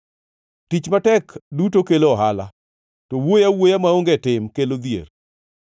Tich matek duto kelo ohala, to wuoyo awuoya maonge tim kelo dhier.